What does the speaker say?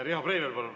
Riho Breivel, palun!